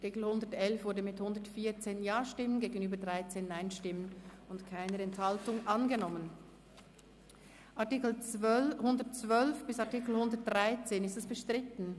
Der Artikel 111 ist mit 114 Ja- gegenüber 13 Nein-Stimmen und bei keiner Enthaltung angenommen worden.